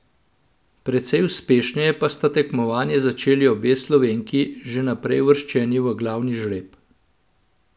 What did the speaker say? Precej uspešneje pa sta tekmovanje začeli obe Slovenki, že vnaprej uvrščeni v glavni žreb.